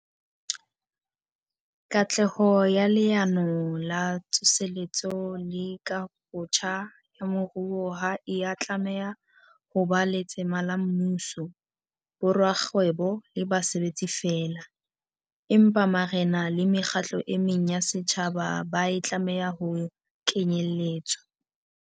Katleho ya Leano la Tsose letso le Kahobotjha ya Moruo ha e a tlameha ho ba letsema la mmuso, borakgwebo le basebetsi feela, empa marena le mekgatlo e meng ya setjha ba e tlameha ho kenyeletswa.